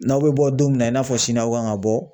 N'aw bɛ bɔ don min na, i n'a fɔ sini aw kan ka bɔ